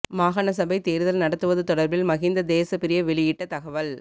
மாகாண சபை தேர்தல் நடத்துவது தொடர்பில் மஹிந்த தேசப்பிரிய வெளியிட்ட தகவல்